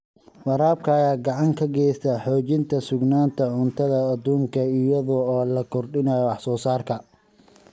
Waraabka ayaa gacan ka geysta xoojinta sugnaanta cuntada adduunka iyadoo la kordhinayo wax soo saarka.